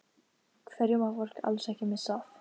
Hverju má fólk alls ekki missa af?